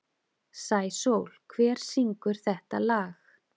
Sæsól, hver syngur þetta lag?